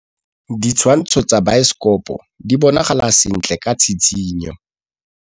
Ditshwantshô tsa biosekopo di bonagala sentle ka tshitshinyô.